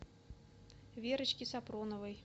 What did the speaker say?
верочке сапроновой